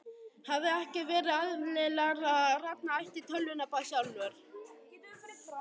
Hefði ekki verið eðlilegra að Ragnar ætti tölvuna bara sjálfur?